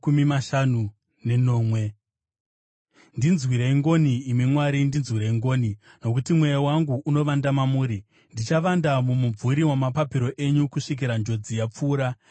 Ndinzwirei ngoni, imi Mwari, ndinzwirei ngoni, nokuti mweya wangu unovanda mamuri. Ndichavanda mumumvuri wamapapiro enyu, kusvikira njodzi yapfuura.